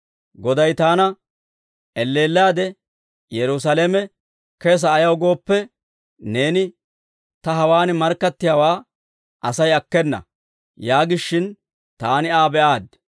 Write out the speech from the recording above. Goday taana, ‹Elleellaade, Yerusaalame kesa ayaw gooppe, neeni taw hawaan markkattiyaawaa Asay akkena› yaagishin taani Aa be'aaddi.